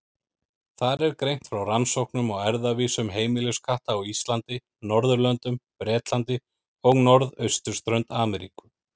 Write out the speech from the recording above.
Þar er greint frá rannsóknum á erfðavísum heimiliskatta á Íslandi, Norðurlöndum, Bretlandi og norðausturströnd Ameríku.